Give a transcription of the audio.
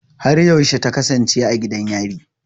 Har yaushe ta kasance a gidan yari?